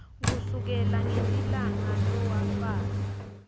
kusukela ngelilanga lowafaka